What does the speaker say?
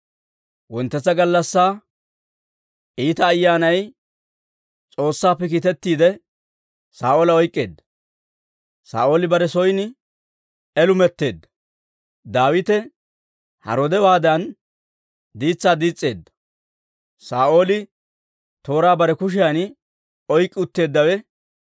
Wonttetsa gallassaa iita ayyaanay S'oossaappe kiitettiide, Saa'oola oyk'k'eedda; Saa'ooli bare son elumetteedda. Daawite haroodewaadan diitsaa diis's'eedda; Saa'ooli tooraa bare kushiyan oyk'k'i utteeddawe,